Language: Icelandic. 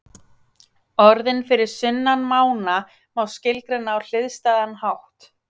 Orðin fyrir sunnan mána má skilgreina á hliðstæðan hátt.